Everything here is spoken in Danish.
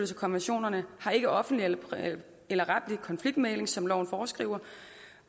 sig konventionerne har ikke offentlig eller retlig konfliktmægling som loven foreskriver